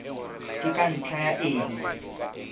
ke ka ntlha ya eng